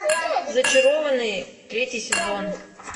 зачарованные третий сезон